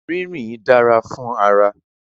Ririn dara fun ara